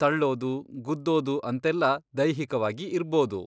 ತಳ್ಳೋದು, ಗುದ್ದೋದು ಅಂತೆಲ್ಲ ದೈಹಿಕವಾಗಿ ಇರ್ಬೋದು.